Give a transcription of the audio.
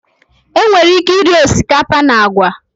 Enwere ike iri osikapa na agwa